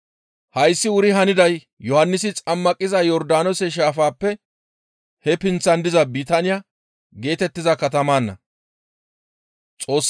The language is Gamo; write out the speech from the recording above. Hayssi wuri haniday Yohannisi xammaqiza Yordaanoose shaafappe he pinththan diza Bitaaniya geetettiza katamanna.